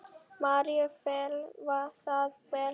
Maríu féll það vel.